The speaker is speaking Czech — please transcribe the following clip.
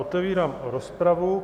Otevírám rozpravu.